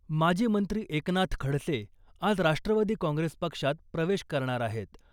माजी मंत्री एकनाथ खडसे आज राष्ट्रवादी काँग्रेस पक्षात प्रवेश करणार आहेत .